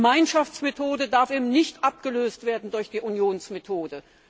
Die Gemeinschaftsmethode darf nicht abgelöst werden durch die Unionsmethode.